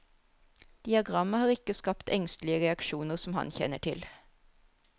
Diagrammet har ikke skapt engstelige reaksjoner som han kjenner til.